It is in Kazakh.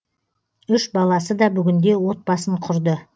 үш баласы да бүгінде отбасын құрды